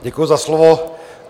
Děkuji za slovo.